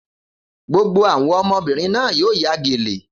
Gbogbo àwọn ọmọbìnrin náà yóò ya gèlè.